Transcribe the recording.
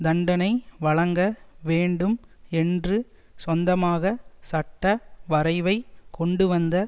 தண்டனை வழங்க வேண்டும் என்று சொந்தமாக சட்ட வரைவை கொண்டுவந்த